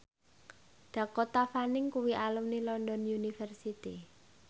Dakota Fanning kuwi alumni London University